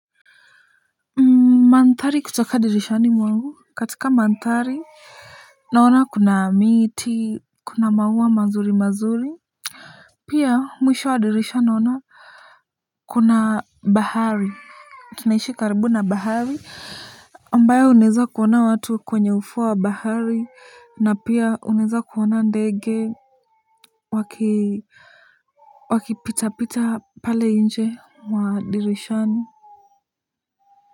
Mandhari kutoka dirishani mwangu katika mandhari. Naona kuna miti kuna maua mazuri mazuri. Pia mwisho wa dirisha naona kuna bahari tunaishi karibu na bahari ambayo unaweza kuona watu kwenye ufuo wa bahari na pia unaweza kuona ndege waki wakipita pita pale nje mwa dirishani.